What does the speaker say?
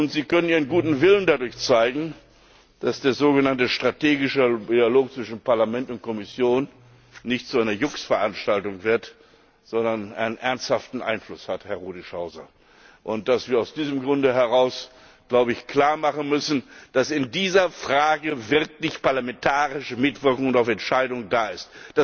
Sie können Ihren guten Willen dadurch zeigen, dass der sogenannte strategische Dialog zwischen Parlament und Kommission nicht zu einer Jux Veranstaltung wird, sondern einen ernsthaften Einfluss hat, Herr Rudischhauser, und dass wir aus diesem Grunde heraus klar machen müssen, dass in dieser Frage wirklich parlamentarische Mitwirkung und auch Entscheidung da ist.